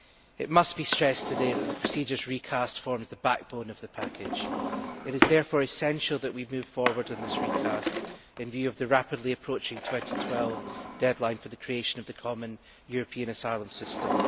It must be stressed today that the procedures recast forms the backbone of the package. It is therefore essential that we move forward on this recast in view of the rapidly approaching 2012 deadline for the creation of the common European asylum system.